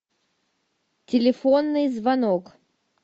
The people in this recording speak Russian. телефонный звонок